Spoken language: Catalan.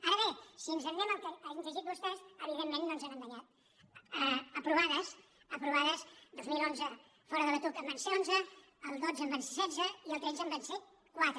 ara bé si ens anem al que han llegit vostès evident·ment no ens han enganyat aprovades aprovades dos mil onze fora de la tuc en van ser onze el dotze en van ser setze i el tretze en van ser quatre